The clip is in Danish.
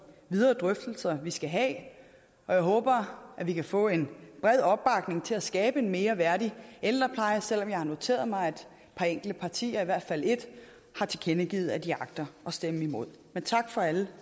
videre drøftelser vi skal have og jeg håber at vi kan få en bred opbakning til at skabe en mere værdig ældrepleje selv om jeg har noteret mig at et par enkelte partier i hvert fald ét har tilkendegivet at de agter at stemme imod men tak for alle